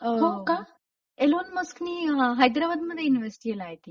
अ... होका? एलॉन मस्कने हैदराबाद मध्ये इन्व्हेस्ट केलंय आय थिंक!